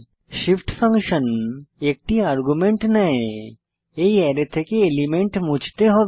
shift function একটি argument নেয় এই অ্যারে থেকে এলিমেন্ট মুছতে হবে